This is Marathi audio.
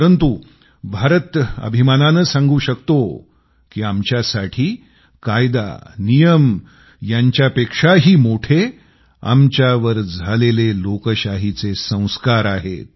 परंतु भारत गर्वानं अभिमानानं सांगू शकतो की आमच्यासाठी कायदा नियम यांच्यापेक्षाही मोठे आमच्यावर झालेले लोकशाहीचे संस्कार आहेत